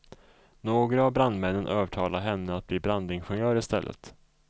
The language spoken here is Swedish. Några av brandmännen övertalade henne att bli brandingenjör i stället.